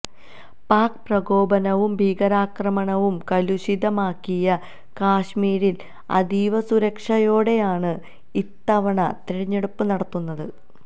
pack പ്രകോപനവും ഭീകരാക്രമണവും കലുഷിതമാക്കിയ കശ്മീരില് അതീവ സുരക്ഷയോടെയാണ് ഇത്തവണ തിരഞ്ഞെടുപ്പ് നടത്തുന്നത്